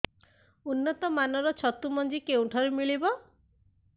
ଉନ୍ନତ ମାନର ଛତୁ ମଞ୍ଜି କେଉଁ ଠାରୁ ମିଳିବ